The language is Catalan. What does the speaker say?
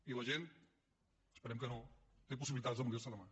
i la gent esperem que no té possibilitats de morir·se demà